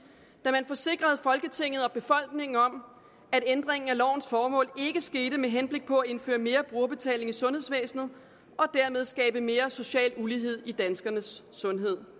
da man forsikrede folketinget og befolkningen om at ændringen af lovens formål ikke skete med henblik på at indføre mere brugerbetaling i sundhedsvæsenet og dermed skabe mere social ulighed i danskernes sundhed